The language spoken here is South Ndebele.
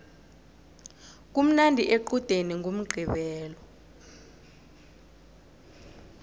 kumnandi equdeni ngomqqibelo